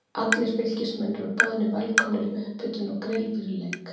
Allir Fylkismenn eru boðnir velkomnir í upphitun og grill fyrir leik.